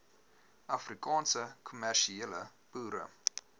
afrikaanse kommersiële boere